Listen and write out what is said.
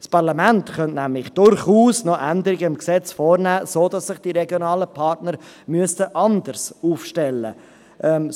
Das Parlament könnte nämlich durchaus noch Änderungen am Gesetz vornehmen, sodass sich die regionalen Partner anders aufstellen müssten.